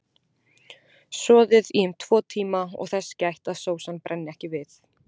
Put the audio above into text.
Soðið í um tvo tíma og þess gætt að sósan brenni ekki við.